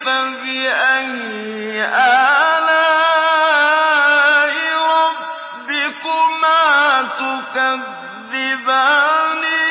فَبِأَيِّ آلَاءِ رَبِّكُمَا تُكَذِّبَانِ